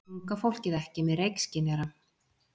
Unga fólkið ekki með reykskynjara